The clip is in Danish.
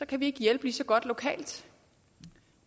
kan vi ikke hjælpe lige så godt lokalt